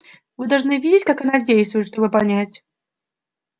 вы должны видеть как она действует чтобы понять